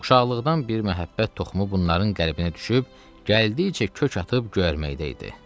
Uşaqlıqdan bir məhəbbət toxumu bunların qəlbinə düşüb, gəldikcə kök atıb göyərməkdə idi.